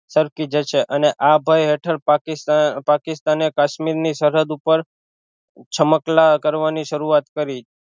સરકી જશે અને આ હેઠળ પાકી પાકિસ્તાને કાશ્મીર ની સરહદ ઉપર છમકલા કરવાની શરૂઆત કરી